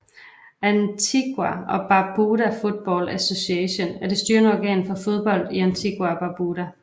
Antigua and Barbuda Football Association er det styrende organ for fodbold i Antigua og Barbuda